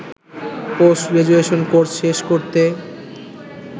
post graduation course শেষ করতে